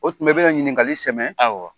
O tuma , i bɛ na ɲininkakali sɛmɛ; awɔ.